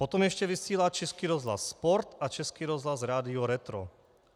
Potom ještě vysílá Český rozhlas Sport a Český rozhlas Rádio Retro.